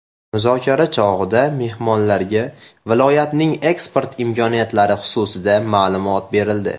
Muzokara chog‘ida mehmonlarga viloyatning eksport imkoniyatlari xususida ma’lumot berildi.